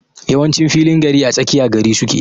Yawancin filin gari ã tsakiya gari suke.